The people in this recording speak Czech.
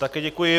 Také děkuji.